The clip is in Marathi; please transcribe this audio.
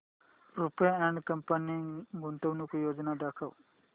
रुपा अँड कंपनी गुंतवणूक योजना दाखव